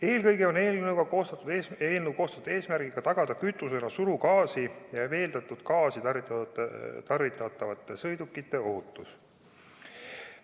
Eelkõige on eelnõu koostatud eesmärgiga tagada kütusena surugaasi ja veeldatud gaasi tarvitavate sõidukite ohutus.